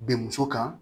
Bɛn muso kan